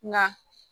Na